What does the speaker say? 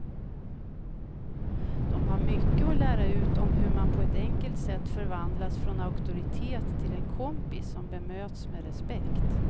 De har mycket att lära ut om hur man på ett enkelt sätt förvandlas från auktoritet till en kompis som bemöts med respekt.